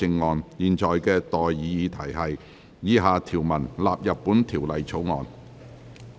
我現在向各位提出的待議議題是：以下條文納入本條例草案。